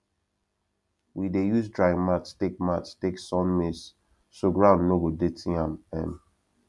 we dey use drying mat take mat take sun maize so ground no go dirty am um